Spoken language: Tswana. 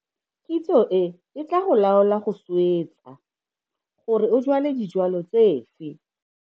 Kitso e e tla go laola go swetsa gore o jwale dijwalo tsefe.